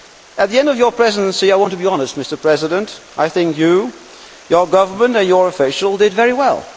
At the end of your Presidency I want to be honest Mr President I think you, your government and your officials did very well.